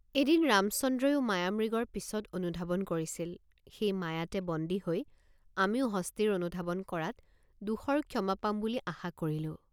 এদিন ৰামচন্দ্ৰয়ো মায়ামৃগৰ পিচত অনুধাবন কৰিছিল সেই মায়াতে বন্দী হৈ আমিও হস্তীৰ অনুধাবন কৰাত দোষৰ ক্ষমা পাম বুলি আশা কৰিলো।